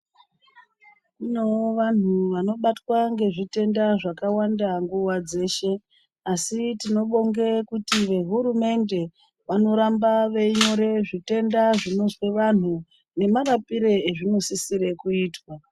Kuno vantu vanobatwa ngezvitenda zvakawanda nguwa dzeshe, asi tinobonge kuti vehurumende vanoramba veinyore zvitenda zvinozwe vantu, nemarapire ezvinosisire kuitwa.